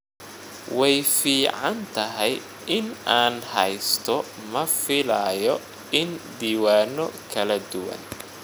Way fiicantahay in aan haysto ma filayo in diiwaano kala duwan.